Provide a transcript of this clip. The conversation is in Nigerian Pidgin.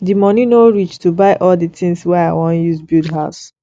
di moni no reach to buy all di tins wey i wan use build house